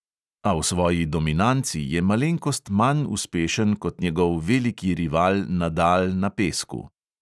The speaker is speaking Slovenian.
A v svoji dominanci je malenkost manj uspešen kot njegov veliki rival nadal na pesku.